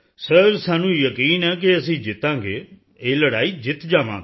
sir ਸਾਨੂੰ ਯਕੀਨ ਹੈ ਕਿ ਅਸੀਂ ਜਿੱਤਾਂਗੇ ਇਹ ਲੜਾਈ ਜਿੱਤ ਜਾਵਾਂਗੇ